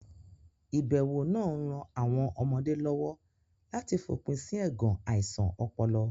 Ìbẹ̀wò náà ń ran àwọn ọmọdé lọ́wọ́ láti fòpin sí ẹ̀gàn àìsàn ọpọlọ.